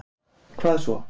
hvað svo